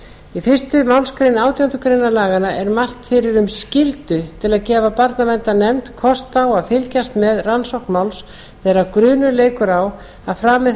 í fyrstu málsgrein átjándu grein laganna er mælt fyrir um skyldu til að gefa barnaverndarnefnd kost á að fylgjast með rannsókn máls þegar grunur leikur á að framið